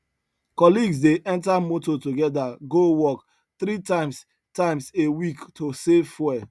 colleagues dey enter motor together go work three times times a week to save fuel